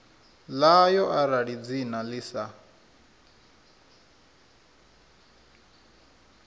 ḽayo arali dzina ḽi sa